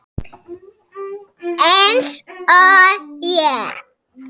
Eins og ég.